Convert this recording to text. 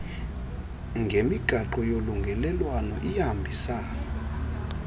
ngemigaqo yolungelelwano iyahambisana